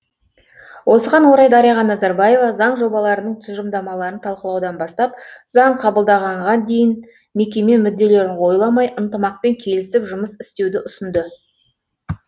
осыған орай дариға назарбаева заң жобаларының тұжырымдамаларын талқылаудан бастап заң қабылданғанға дейін мекеме мүдделерін ойламай ынтымақпен келісіп жұмыс істеуді ұсынды